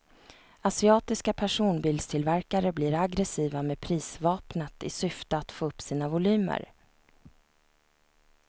Asiatiska personbilstillverkare blir aggressiva med prisvapnet i syfte att få upp sina volymer.